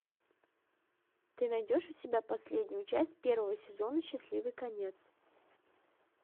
ты найдешь у себя последнюю часть первого сезона счастливый конец